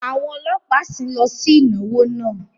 Àwọn ọlọ́pàá sìn ín lọ sí ìnáwó náà